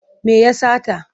Me ya sata?